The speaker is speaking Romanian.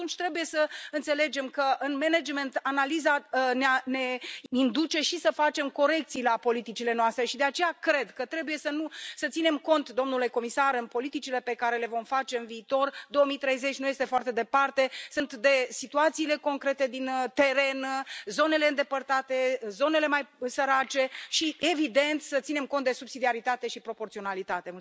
Atunci trebuie să înțelegem că, în management, analiza ne impune să facem corecții politicilor noastre și, de aceea, cred că trebuie să să ținem cont, domnule comisar, în politicile pe care le vom face în viitor, 2030 nu este foarte departe, de situațiile concrete din teren, de zonele mai îndepărtate, de zonele mai sărace și, evident, să ținem cont de subsidiaritate și proporționalitate.